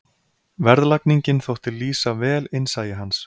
Verðlagningin þótti lýsa vel innsæi hans.